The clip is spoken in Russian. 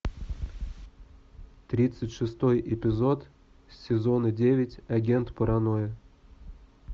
тридцать шестой эпизод сезона девять агент паранойя